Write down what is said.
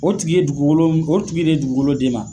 O tigi ye dugukolon o tigi de ye dugukolo d'e ma.